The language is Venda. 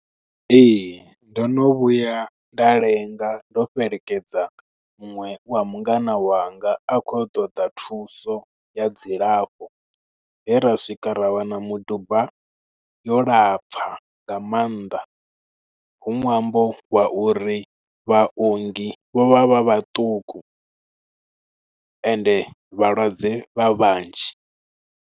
Ee, ndo no vhuya nda lenga, ndo fhelekedza muṅwe wa mungana wanga a khou ya u ṱoḓa thuso ya dzilafho. He ra swika rawana miduba yo lapfa nga maanḓa. Hu nwambo wa uri vhaongi vho vha vha vhaṱuku ende vhalwadze vha vhanzhi.